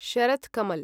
Sharath Kamal